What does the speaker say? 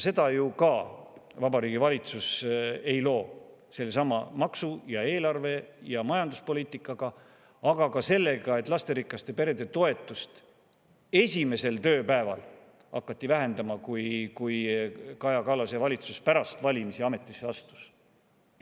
Seda ju ka Vabariigi Valitsus ei loo sellesama maksu-, eelarve- ja majanduspoliitikaga ega ka sellega, et lasterikaste perede toetust hakati vähendama kohe esimesel tööpäeval, kui Kaja Kallase valitsus pärast valimisi ametisse astus.